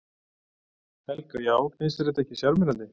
Helga: Já finnst þér þetta ekki sjarmerandi?